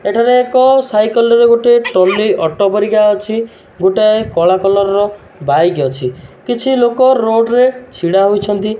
ଏଠାରେ ଏକ ସାଇକେଲ୍ ରେ ଗୋଟିଏ ଟଲି ଅଟୋ ପରିକା ଅଛି ଗୋଟାଏ କଳା କଲର୍ ର ବାଇକ୍ ଅଛି କିଛିଲୋକ ରୋଡ୍ ରେ ଛିଡାହୋଇଛନ୍ତି।